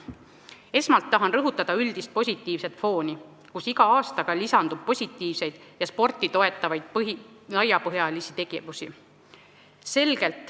Esmalt tahan rõhutada üldist positiivset fooni, sest iga aastaga lisandub positiivseid ja sporti toetavaid laiapõhjalisi tegevusi.